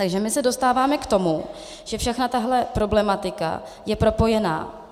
Takže my se dostáváme k tomu, že všechna tahle problematika je propojená.